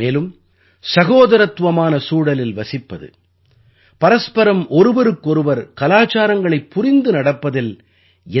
மேலும் சகோதரத்துவமான சூழலில் வசிப்பது பரஸ்பரம் ஒருவருக்கொருவர் கலாச்சாரங்களைப் புரிந்து நடப்பதில்